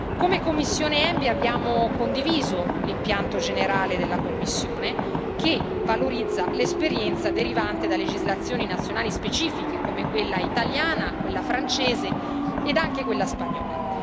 Come commissione ENVI abbiamo condiviso l'impianto generale della Commissione, che valorizza l'esperienza derivante da legislazioni nazionali specifiche come quella italiana, quella francese e anche quella spagnola.